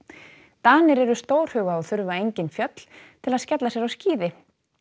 Danir eru stórhuga og þurfa engin fjöll til að skella sér á skíði